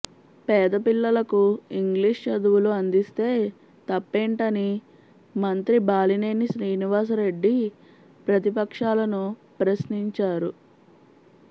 పేద పిల్లలకు ఇంగ్లీష్ చదువులు అందిస్తే తప్పేంటని మంత్రి బాలినేని శ్రీనివాసరెడ్డి ప్రతిపక్షాలను ప్రశ్నించారు